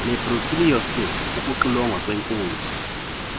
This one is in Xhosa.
nebrucellosis ukuxilongwa kweenkunzi